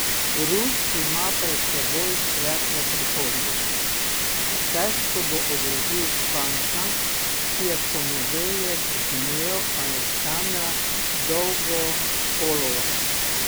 Rus ima pred seboj svetlo prihodnost, a težko bo ogrozil Španca, ki je v ponedeljek zmlel Aleksandra Dolgopolova.